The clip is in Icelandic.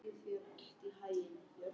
Mér fannst ég sjá það í augum hans.